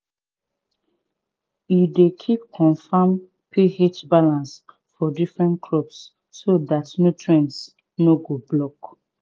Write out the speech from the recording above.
e dey keep confam ph balance for different crops so dat nutrients no go block